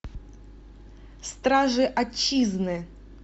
стражи отчизны